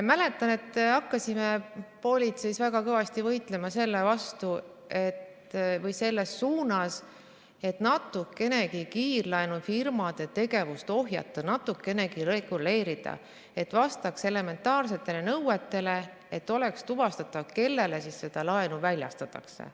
Mäletan, et hakkasime politseis väga kõvasti võitlema selles suunas, et natukenegi kiirlaenufirmade tegevust ohjata, seda natukenegi reguleerida, et see vastaks elementaarsetele nõuetele ja et oleks tuvastatav, kellele see laen väljastatakse.